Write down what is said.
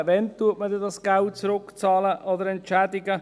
Wann bezahlt man das Geld zurück oder entschädigt?